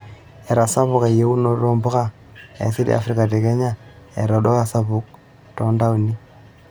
Etasapuka eyiunoto oo mpuka e asili e Afrika te Kenya eeta olduka sapuk too ntaoni.